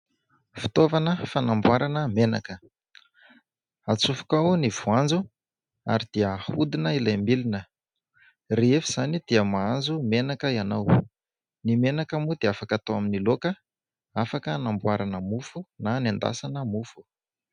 Fitaovana fanamboarana menaka, atsofoka ao ny voanjo ary dia ahodina ilay milina rehefa izany dia mahazo menaka ianao, ny menaka moa dia afaka hatao amin'ny laoka, afaka hanamboarana mofo na anendasana mofo.